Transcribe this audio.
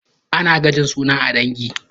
Ana gajin suna a ɗangi